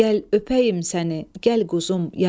Gəl öpəyim səni, gəl quzum, yavrum.